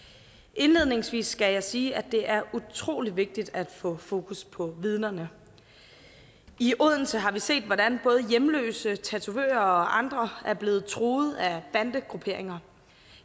indledningsvis skal jeg sige at det er utrolig vigtigt at få fokus på vidnerne i odense har vi set hvordan både hjemløse tatovører og andre er blevet truet af bandegrupperinger